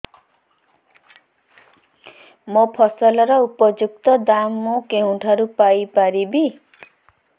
ମୋ ଫସଲର ଉପଯୁକ୍ତ ଦାମ୍ ମୁଁ କେଉଁଠାରୁ ପାଇ ପାରିବି